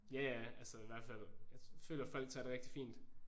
Ja ja altså i hvert fald jeg føler folk tager det rigtig fint